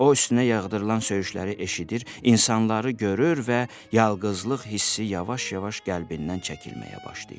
O üstünə yağdırılan söyüşləri eşidir, insanları görür və yalqızlıq hissi yavaş-yavaş qəlbindən çəkilməyə başlayır.